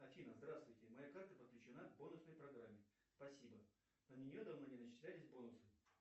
афина здравствуйте моя карта подключена к бонусной программе спасибо на нее давно не начислялись бонусы